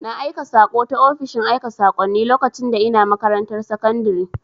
Na aika saƙo ta ofishin aika sakonni lokacin da ina makarantar sakundire